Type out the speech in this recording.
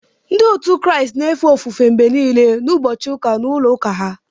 Ndị otu Kraịst na-efe ofufe mgbe nile n'ụbọchị ụka n’ulo ụka ha